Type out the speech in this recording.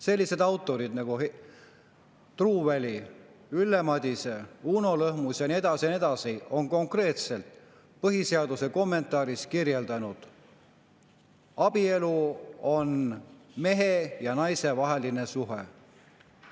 Sellised autorid nagu Truuväli, Ülle Madise, Uno Lõhmus ja nii edasi ja nii edasi, on konkreetselt põhiseaduse kommentaaris kirjutanud, et abielu on mehe ja naise vaheline suhe.